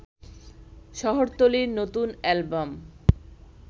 শহরতলীর নতুন অ্যালবাম